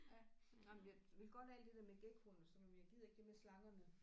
Ja nej men jeg vil godt alt det der med gekkoerne og sådan men jeg gider ikke det med slangerne